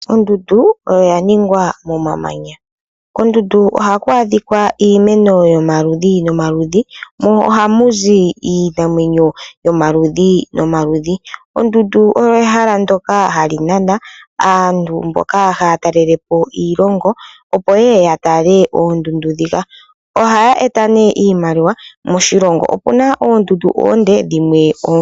Ondundu oyo ya ningwa momamanya, kondundu ohaku adhika iimeno yo maludhi no maludhi. Mo ohamu zi iinamwenyo yo maludhi no maludhi. Ondundu oyo ehala ndyoka hali nana aantu mboka haya talelepo iilongo opo yeye ya tale oondundu dhika. Ohaya eta nee iimaliwa moshilongo. Opuna oondundu dhimwe oonde dhimwe oofupi.